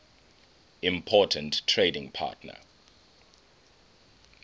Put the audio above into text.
important trading partner